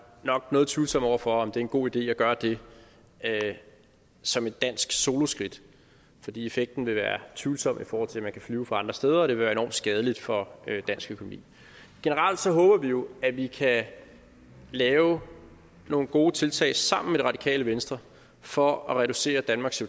nok noget tvivlsomme over for om det er en god idé at gøre det som et dansk soloskridt fordi effekten vil være tvivlsom i forhold til at man kan flyve fra andre steder og at det vil være enormt skadeligt for dansk økonomi generelt håber vi jo at vi kan lave nogle gode tiltag sammen med det radikale venstre for at reducere danmarks